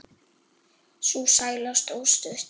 Sú sæla stóð stutt.